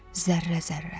Zərrə-zərrə.